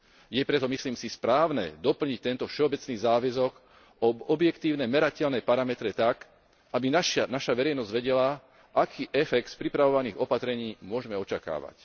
Je preto, myslím si, správne doplniť tento všeobecný záväzok o objektívne merateľné parametre tak, aby naša verejnosť vedela, aký efekt z pripravovaných opatrení môžme očakávať.